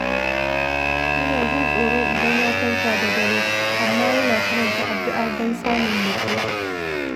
Yana jin tsoro idan ya farka da dare, amma yana karanta addu’a don samun nutsuwa.